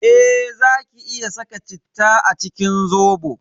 Eh zaki iya saka citta a cikin Zobo.